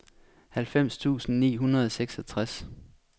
halvfems tusind ni hundrede og seksogtres